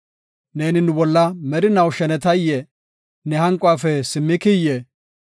Neeni nu bolla merinaw shenetayee? Ne hanquwafe simmikiyee?